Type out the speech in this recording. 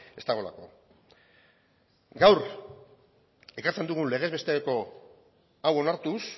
ez dagoelako gaur ekartzen dugun legez besteko hau onartuz